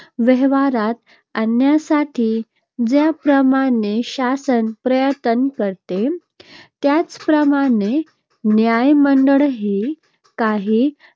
व्यवहारात आणण्यासाठी ज्याप्रमाणे शासन प्रयत्न करते, त्याचप्रमाणे न्यायमंडळी काही